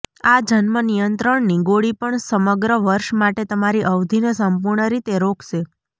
આ જન્મ નિયંત્રણની ગોળી પણ સમગ્ર વર્ષ માટે તમારી અવધિને સંપૂર્ણ રીતે રોકશે